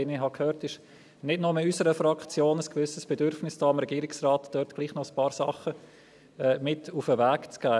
Wie ich gehört habe, ist nicht nur in unserer Fraktion ein gewisses Bedürfnis da, dem Regierungsrat trotzdem ein paar Dinge mit auf den Weg zu geben.